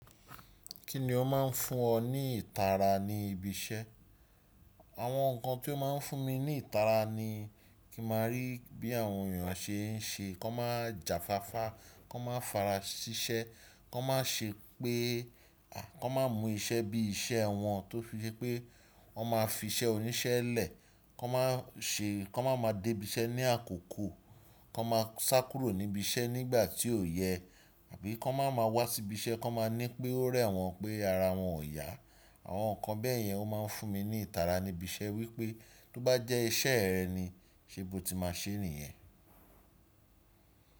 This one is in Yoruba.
Kí ni ó máa ń fún ọ ní ìtara ní ibi iṣẹ́? Àwọn nǹkan tí ó máa ń fún mi ní ìtara ni kí n màá rí bí àwọn èèyàn ṣe ń ṣe, kó má ja fáfá, kó má farasiṣẹ́, kó má ṣe pé, à, kó má mú iṣẹ́ bí iṣẹ́ wọn tó ṣe pé wọ́n má fi iṣẹ́ oníṣẹ́ lẹ̀, kó má ṣe kó máa má dé ibi iṣẹ́ ní àkókò, kó má sá kúrò níbi iṣẹ́ nígbà tí kó yẹ àbí kó máa ma wá sí ibi iṣẹ́ kó máa ní pé ó rẹ́ wọn pé ara wọn ò yá. Àwọn nǹkan bẹ́ẹ̀ yẹn ó máa ń fún mi ní ìtara níbi iṣẹ́ wípé tó bá jẹ́ iṣẹ́ rẹ̀ ni, ṣe bó ti máa ṣè é nìyẹn.